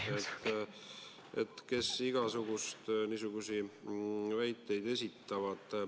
Seal esitatakse igasuguseid väiteid.